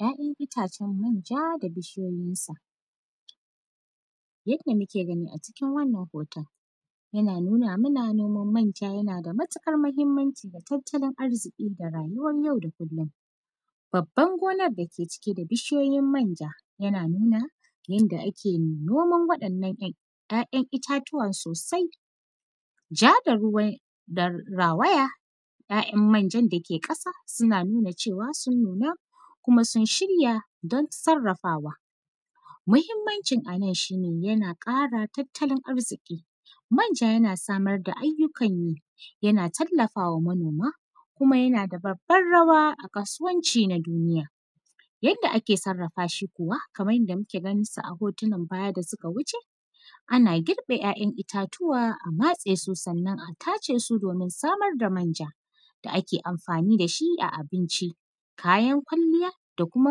‘Ya’yan itacen manja da bishiyoyinsa. Yadda muke gani a cikin wannan hoton, yana nuna mana noman manja yana da matiƙar mahimmanci ga tattalin arziƙi da rayuwar yau da kullin. Babban gonan da ke cike da bishiyoyin manja, yana nuna yanda ake noman waɗannan ‘yan; ‘ya’yan itatuwan sosai. Ja da ruwan da rawaya, ‘ya’yan manjan da ke ƙasa, sina nuna cewa sun nuna kuma sun shirya, don sarrafawa. Mahimmancin a nan, shi ne yana ƙara tattalin arziƙi. Manja, yana samar da ayyukan yi, yana tallafa wa manoma kuma yana da babbar rawa a kasuwanci na duniya. Yadda ake sarrafa shi kuwa, kaman yanda muke ganin sa a hotunan baya da sika wuce, ana girbe ‘ya’yan itatuwa a matse su. Sannan, a tace su domin samar da manja da ake amfani da shi a abinci, kayan kwalliya da kuma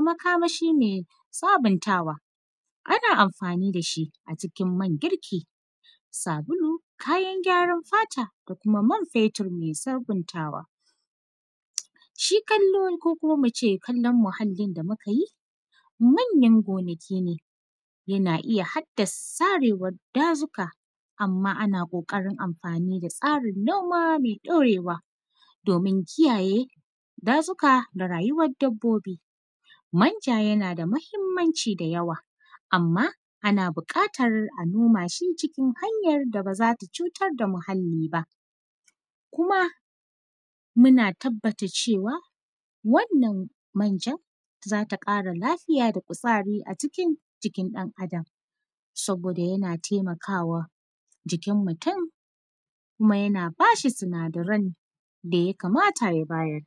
makamashi me sabintawa. Ana amfani da shi a cikin man girki, sabulu, kayan gyaran fata da kuma man fetur me sabintawa. Shi kallo, ko kuma mu ce kallon muhallin da muka yi, manyan gonaki ne yana iya hadda sarewan dazuka. Amma, ana ƙoƙarin amfani da tsarin noma me ɗorewa, domin kiyaye dazuka da rayuwad dabbobi. Manja, yana da mahimmanci da yawa, amma ana biƙatar a noma shi cikin hanyar da ba za ta cutar da muhalli ba. Kuma, mu tabbata cewa, wannan manja, za ta ƙara lafiya da kuzari a cikin jikin ɗan Adam. Saboda yana temaka wa jikin mutun, kuma yana ba shi sinadaran da ya kamata ya bayar.